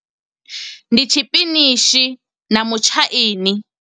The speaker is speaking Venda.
Ndi tshipinishi na mutshaini.